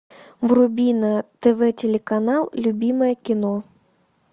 вруби на тв телеканал любимое кино